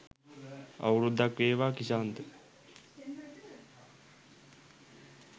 අවුරුද්දක් වේවා ක්‍රිෂාන්ත